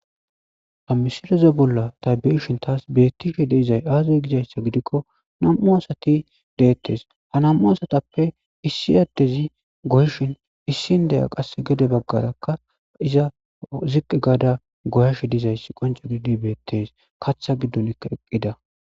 Ha misileza bolla ta beyishin tas betishe dizay azeysa gidikon nam'u asati detes ha nam'u asatappe issi adezi goyishin issi indiya qase gede bagara qaseka ziqi gada goyashe dizaysi qonce gidi betes katha gigonka eqida